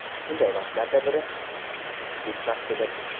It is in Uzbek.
Shunday vaqtlardan biri – tushlik vaqtidir.